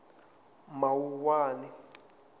mawuwani